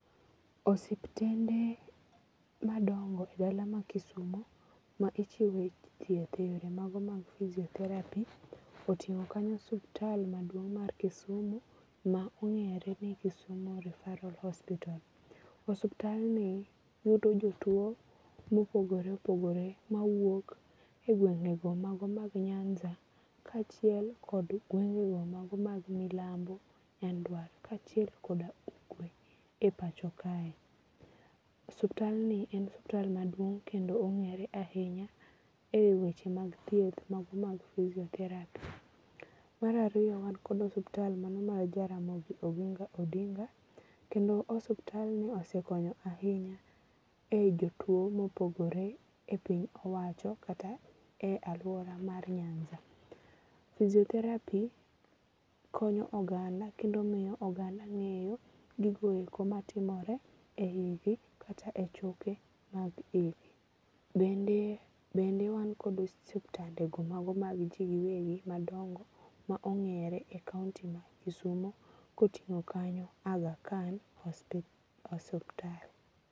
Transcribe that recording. Osiptende madongo e dala ma Kisumo ma ichiwe thieth e yore mago mag physiotherapy oting'o kanyo osuptal maduong mar Kisumu ma ong'ere ni Kisumu Referral Hospital. Osuptal ni yudo jotuo mopogore opogore makuok e gwenge go mago mag Nyanza kachiel kod gwenge go mago mag milambo gi nyanduat kachiel kod ugwe e pacho kae. Osuptal ni en osuptal maduong ong'ere ahinya e weche mag thieth mago mag physiotherapy. Mar ariyo wan kod osuptal mano mar Jaramogi Oginga Odinga. Kendo osuptal ni osekonyo ahinya e jo tuo mopogore e piny owacho kata e aluora mar Nyanza. Physiotherapy konyo oganda kendo miyo oganda ng'eyo gigo eko matimore e yi gi kata e choke ma gi. Bende wan kod osiptande go mago ma ji giwegi madongo ma ongere e kaunti ma Kisumo kotingo kanyo Agha Khan osuptal.